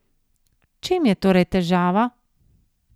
V čem je torej težava?